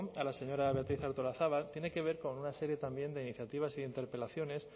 a la señora beatriz artolazabal tiene que ver con una serie también de iniciativas y de interpelaciones